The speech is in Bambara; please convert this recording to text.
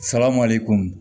Salamale komi